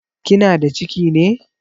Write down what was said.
Kina da ciki ne?